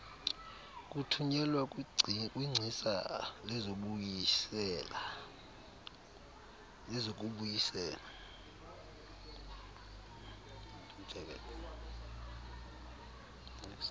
kuthunyelwa kwingcisa lezokubuyisela